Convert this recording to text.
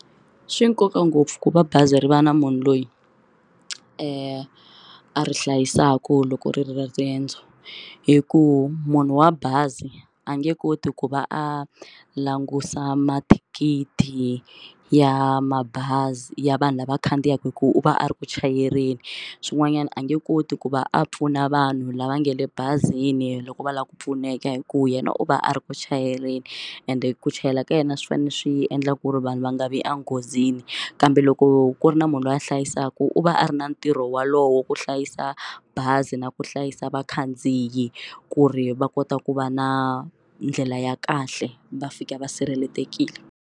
Swi na nkoka ngopfu ku va bazi ri va na munhu loyi a ri hlayisaka loko ri ri eka riendzo hikuva munhu wa bazi a nge koti ku va a langusa mathikithi ya mabazi ya vanhu lava khandziyaka hi ku u va a ri ku chayeleni swin'wanyana a nge koti ku va a pfuna vanhu lava nge le bazini loko va lava ku pfuneka hi ku yena u va a ri ku chayeleni ende ku chayela ka yena swi fanele swi endla ku ri vanhu va nga vi enghozini yini kambe loko ku ri na munhu loyi a hlayisaka u va a ri na ntirho wolowo ku hlayisa bazi na ku hlayisa vakhandziyi ku ri va kota ku va na ndlela ya kahle va fika va sirhelelekile.